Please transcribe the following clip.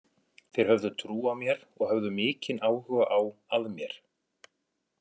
Þeir höfðu trú á mér og höfðu mikinn áhuga á að mér.